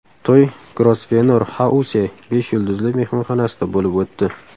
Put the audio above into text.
To‘y Grosvenor House besh yulduzli mehmonxonasida bo‘lib o‘tdi.